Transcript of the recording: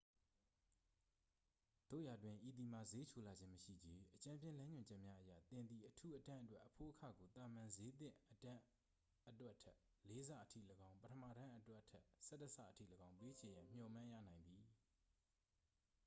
သို့ရာတွင် ဤသည်မှာ ဈေးချိုလာခြင်းမရှိချေ- အကြမ်းဖျဉ်းလမ်းညွှန်ချက်များအရ သင်သည် အထူးအတန်းအတွက် အဖိုးအခကို သာမန်ဈေးသင့်အတန်းအတွက်ထက် လေးဆအထိလည်းကောင်း၊ပထမတန်းအတွက်ထက် ၁၁ ဆအထိလည်းကောင်း ပေးချေရန် မျှော်မှန်းရနိုင်သည်။